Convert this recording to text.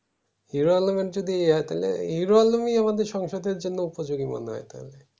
hero Alam এর যদি এই হয় হেরো আলম আমাদের সংসদের জন্য উপজোগী মনে হয় এইটা